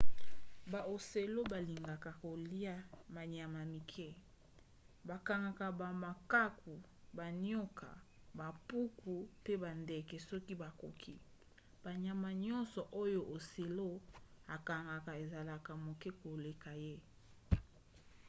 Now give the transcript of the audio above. baocelot balingaka kolia banyama ya mike. bakangaka bamakaku banioka bampuku mpe bandeke soki bakoki. banyama nyonso oyo ocelot akangaka ezalaka moke koleka ye